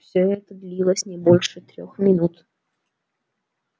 всё это длилось не больше трёх минут